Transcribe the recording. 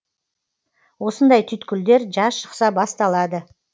осындай түйткілдер жаз шықса басталады